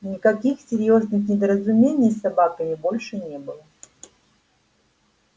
никаких серьёзных недоразумений с собаками больше не было